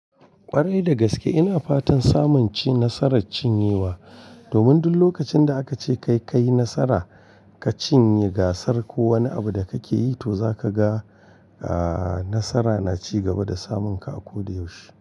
Ƙwarai da gaske ina fatan samun ci nasarar cinyewa, domin duk lokacin da aka ce kai kayi nasara ka cinye gasar ko wani abu da kake yi to zaka ga, aa nasara na ci gaba da samun ka a koda yaushe.